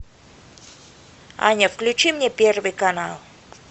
аня включи мне первый канал